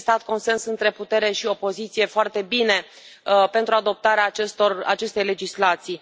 A existat consens între putere și opoziție foarte bine pentru adoptarea acestei legislații.